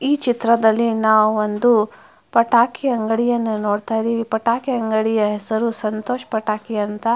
ಈ ಚಿತ್ರದಲ್ಲಿ ನಾವು ಒಂದು ಪಟಾಕಿ ಅಂಗಡಿಯನ್ನು ನೋಡತ್ತಾ ಇದೀವಿ ಈ ಪಟಾಕಿಯ ಅಂಗಡಿಯ ಹೆಸರು ಸಂತೋಷ್ ಪಟಾಕಿ ಅಂತ.